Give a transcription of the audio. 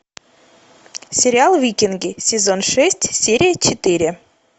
сериал викинги сезон шесть серия четыре